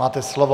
Máte slovo.